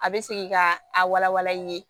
A bɛ segin ka a wala wala i ye